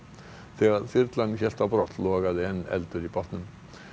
þegar þyrlan hélt á brott logaði enn eldur í bátnum